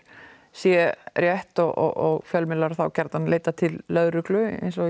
sé rétt og fjölmiðlar þá gjarnan leiti til lögreglu eins og